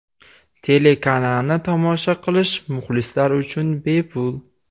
Telekanalni tomosha qilish muxlislar uchun bepul.